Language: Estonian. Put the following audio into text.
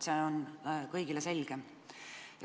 See on kõigile selge.